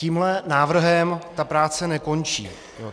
Tímhle návrhem ta práce nekončí.